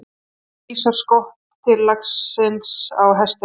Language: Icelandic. Þarna vísar skott til taglsins á hestinum.